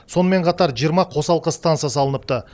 сонымен қатар жиырма қосалқы станция салыныпты